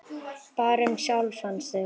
Bara um sjálfan sig.